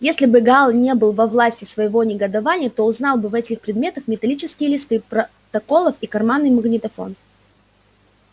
если бы гаал не был во власти своего негодования то узнал бы в этих предметах металлические листы протоколов и карманный магнитофон